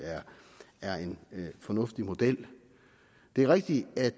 er en fornuftig model det er rigtigt at